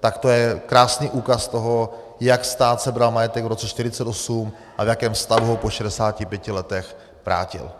tak to je krásný úkaz toho, jak stát sebral majetek v roce 1948 a v jakém stavu ho po 65 letech vrátil.